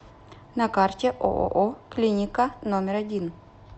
на карте ооо клиника номер один